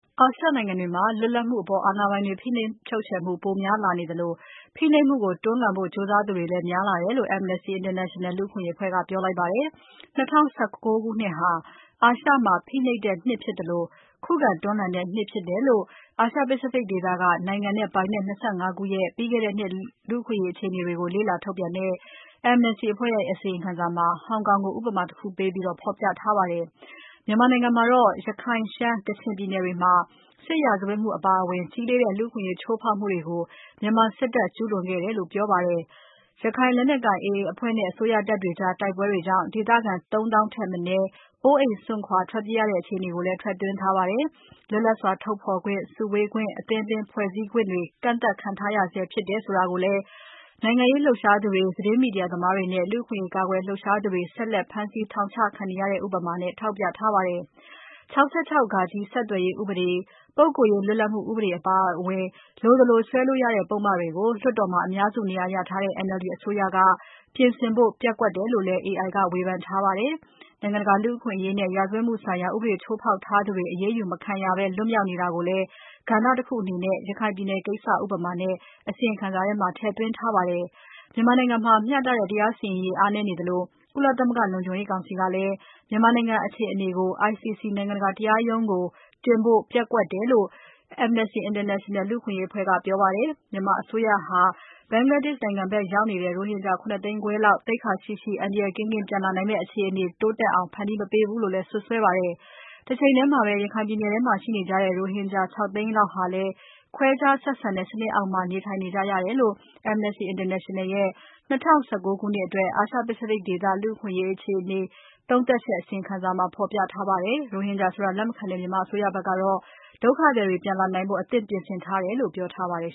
အာရှနိုင်ငံတွေမှာ လွတ်လပ်မှုကို အာဏာပိုင်တွေ ဖိနှိပ်မှု ပိုများလာနေသလို ဖိနှပ်မှုကို တွန်းလှန်ဖို့ကြိုးစားသူတွေလည်း များလာတယ်လို့ Amnesty International လူ့အခွင့်အရေးအဖွဲ့က ပြောလိုက်ပါတယ်။ ၂၀၁၉ ခုနှစ်ဟာ အာရှမှာ ဖိနှိပ်တဲ့နှစ်ဖြစ်သလို ခုခံတွန်းလှန်တဲ့နှစ်ဖြစ်တယ်လို့ အာရှ Pacific ဒေသက နိုင်ငံနဲ့ပိုင်နက် ၂၅ ခုရဲ့ ပြီးခဲ့တဲ့နှစ် လူ့အခွင့်အရေးအခြေအနေတွေကို လေ့လာထုတ်ပြန်တဲ့ Amnesty အဖွဲ့ရဲ့အစီရင်ခံစာမှာ ဟောင်ကောင်ကို ဥပမာတခုပေးပြီး ဖော်ပြထားပါတယ်။ မြန်မာနိုင်ငံမှာတော့ ရခိုင်၊ ရှမ်း၊ ကချင်ပြည်နယ်တွေမှာ စစ်ရာဇဝတ်မှုအပါအဝင် ကြီးလေးတဲ့ လူ့အခွင့်အရေး ချိုးဖောက်မှုတွေကို မြန်မာစစ်တပ်ဟာ ကျူးလွန်ခဲ့တယ်လို့ ပြောပါတယ်။ ရခိုင်လက်နက်ကိုင် AA အဖွဲ့နဲ့ အစိုးရတပ်တွေကြား တိုက်ပွဲတွေကြောင့် ဒေသခံ ၃ သောင်းထက် မနည်းအိုးအိမ်စွန့်ခွာ ထွက်သွားရတဲ့အခြေအနေကိုလည်း ထည့်သွင်းထားပါတယ်။ လွတ်လပ်စွာထုတ်ဖော်ခွင့်၊ စုဝေးခွင့်၊ အသင်းအပင်းဖွဲ့စည်းခွင့်တွေ ကန့်သတ်ခံထားရဆဲ ဖြစ်တယ်ဆိုတာကိုလည်း နိုင်ငံရေးလှုပ်ရှားသူတွေ၊ သတင်းမီဒီယာသမားတွေနဲ့ လူ့အခွင့်အရေး ကာကွယ်လှုပ်ရှားသူတွေ ဆက်လက် ဖမ်းဆီးထောင်ချခံနေရတဲ့ ဥပမာနဲ့ ထောက်ပြထားပါတယ်။ ၆၆ (ဃ) ဆက်သွယ်ရေးဥပဒေ၊ ပုဂ္ဂိုလ်ရေး လွတ်လပ်မှုဥပဒေ အပါအဝင် လိုသလိုဆွဲလို့ရတဲ့ ပုဒ်မတွေကို လွှတ်တော်မှာ အများစုနေရာရထားတဲ့ NLD အစိုးရက ပြင်ဆင်ဖို့ ပျက်ကွက်တယ်လို့လည်း AI က ဝေဖန်ထားပါတယ်။ နိုင်ငံတကာလူ့အခွင့်အရေးနဲ့ ရာဇဝတ်မှုဆိုင်ရာ ဥပဒေချိုးဖောက်ထားသူတွေ အရေးယူမခံရဘဲ လွတ်မြောက်နေတာကိုလည်း ကဏ္ဍတခုအနေနဲ့ ရခိုင်ပြည်နယ်ကိစ္စ ဥပမာနဲ့ အစီရင်ခံစာမှာ ထည့်သွင်းထားပါတယ်။ မြန်မာနိုင်ငံမှာ မျှတတဲ့တရားစီရင်ရေး အားနည်းနေသလို ကုလသမဂ္ဂလုံခြုံရေးကောင်စီက မြန်မာနိုင်ငံ အခြေအနေကို ICC နိုင်ငံတကာ ရာဇဝတ်ခုံရုံးကို တင်ဖို့ ပျက်ကွက်တယ်လို့ Amnesty International လူ့အခွင့်အရေးအဖွဲ့က ပြောပါတယ်။ မြန်မာအစိုးရဟာ Bangladesh နိုင်ငံဘက်ရောက်နေတဲ့ ရိုဟင်ဂျာ ၇ သိန်းခွဲလောက် သိက္ခာရှိရှိ အန္တရာယ်ကင်းကင်း ပြန်လာနိုင်မယ့် အခြေအနေတိုးတက်အောင် ဖန်တီးမပေးဘူးလို့လည်း စွပ်စွဲပါတယ်။ တချိန်ထဲမှာပဲ ရခိုင်ပြည်နယ်ထဲမှာ ရှိနေကြတဲ့ ရိုဟင်ဂျာ ၆ သိန်းလောက်ဟာလဲ ခွဲခြားဆက်ဆံတဲ့ စနစ်အောက်မှာ နေထိုင်နေကြရတယ်လို့ Amnesty Intenational ရဲ့ ၂၀၁၉ ခုနှစ်အတွက် အာရှ Pacific ဒေသ လူ့အခွင့်အရေးအခြေသုံးသပ်ချက် အစီရင်ခံစာမှာ ဖော်ပြထားပါတယ်။ ရိုဟင်ဂျာဆိုတဲ့ အသုံးအနှုန်းကို လက်မခံတဲ့ မြန်မာအစိုးရဘက်ကတော့ ဒုက္ခသည်တွေ ပြန်လာနိုင်ရေးအတွင် အသင့်ပြင်ဆင်ထားတယ်လို့ ပြောထားပါတယ်